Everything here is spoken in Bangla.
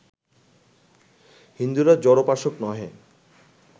হিন্দুরা জড়োপাসক নহে